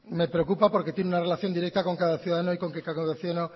me preocupa porque tiene una relación directa con cada ciudadano y con que cada ciudadano